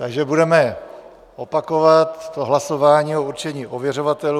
Takže budeme opakovat to hlasování o určení ověřovatelů.